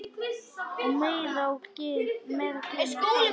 Og meira gin og tónik.